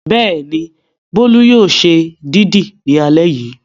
Bẹ́ẹ̀ni, Bólú yóò ṣe dídì ní alẹ́ yìí.